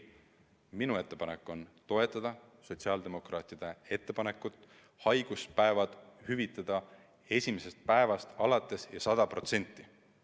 Minu ettepanek on toetada sotsiaaldemokraatide ettepanekut haiguspäevad hüvitada esimesest päevast alates ja 100%.